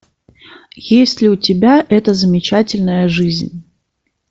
есть ли у тебя эта замечательная жизнь